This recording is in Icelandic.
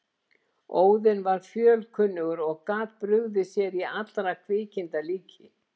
Óðinn var fjölkunnugur og gat brugðið sér í allra kvikinda líki.